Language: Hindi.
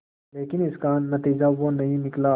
लेकिन इसका नतीजा वो नहीं निकला